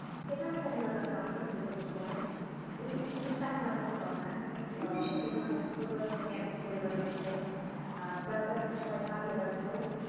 সেটা একটা বিনোদনের অংশ ছিল সেই সময়ে এই জিনিস তা আর চোখে পরে না এখন যার যার মত সবাই কাজে ব্যস্ত